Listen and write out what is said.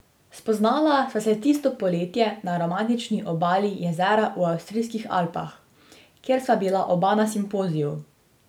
Spoznala sva se tisto poletje na romantični obali jezera v avstrijskih Alpah, kjer sva bila oba na simpoziju.